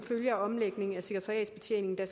jeg